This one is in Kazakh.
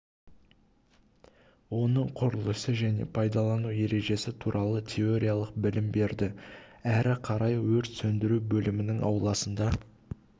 оның құрылысы және пайдалану ережесі туралы теориялық білім берді әрі қарай өрт сөндіру бөлімінің ауласында